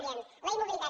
diem la immobilitat